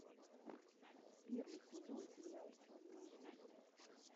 первый сезон сериал черный иисус